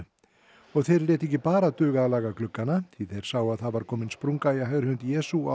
og þeir létu ekki bara duga að laga gluggana því þeir sáu að það var komin sprunga í hægri hönd Jesú á